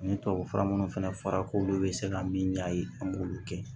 Ni tubabu fura minnu fana fɔra k'olu bɛ se ka min ɲ'a ye an b'olu kɛ